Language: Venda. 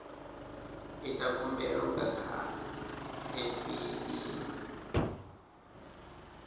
ita khumbelo nga kha efiling